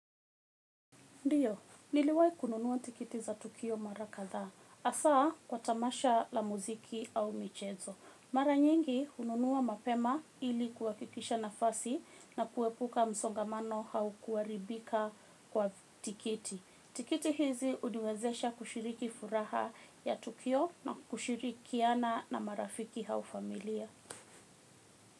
Ndio, niliwai kununuwa tikiti za tukio mara kadhaa. Hasa kwa tamasha la muziki au michezo. Mara nyingi hununuwa mapema ili kuhakikisha nafasi na kuepuka msongamano au kuharibika kwa tikiti. Tikiti hizi huniwezesha kushiriki furaha ya tukio na kushirikiana na marafiki au familia.